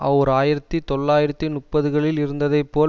ஓர் ஆயிரத்தி தொள்ளாயிரத்து முப்பதுகளில் இருந்ததை போல்